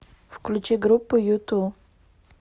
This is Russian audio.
включи группу юту